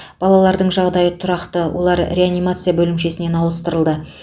балалардың жағдайы тұрақты олар реанимация бөлімшесінен ауыстырылды